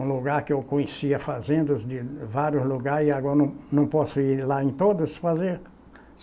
um lugar que eu conhecia fazendas de vários lugares e agora não não posso ir lá em todas fazer?